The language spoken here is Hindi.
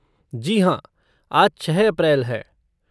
जी हाँ, आज छः अप्रैल है।